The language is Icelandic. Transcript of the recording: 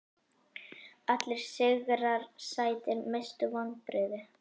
Allir sigrar sætir Mestu vonbrigði?